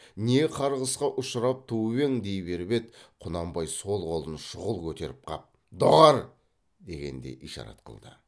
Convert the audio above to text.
не қарғысқа ұшырап туып ең дей беріп еді құнанбай сол қолын шұғыл көтеріп қап доғар дегендей ишарат қылды